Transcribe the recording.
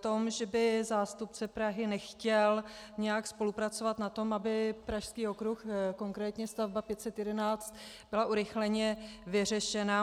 tom, že by zástupce Prahy nechtěl nějak spolupracovat na tom, aby Pražský okruh - konkrétně stavba 511 byla urychleně vyřešena.